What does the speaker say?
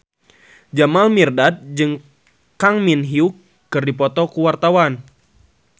Jamal Mirdad jeung Kang Min Hyuk keur dipoto ku wartawan